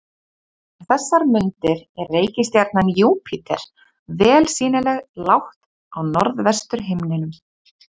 Um þessar mundir er reikistjarnan Júpíter vel sýnileg lágt á norðvestur himninum.